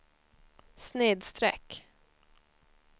snedsträck